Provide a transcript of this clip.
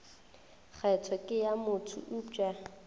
kgetho ke ya motho eupša